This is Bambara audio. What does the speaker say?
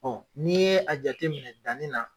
n'i ye a jateminɛ danni na